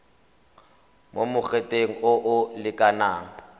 mo mogoteng o o lekanang